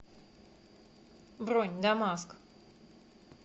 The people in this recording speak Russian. бронь дамаск